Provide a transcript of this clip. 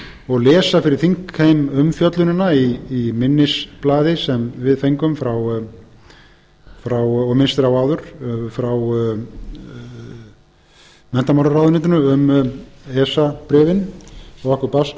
og lesa fyrir þingheim umfjöllunina í minnisblaði sem við fengum og minnst er á áður frá menntamálaráðuneytinu um esa bréfin sem okkur barst